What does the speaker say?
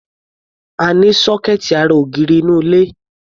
A ní sọ́kẹ́ẹ̀tì ará ògiri nínú ilé.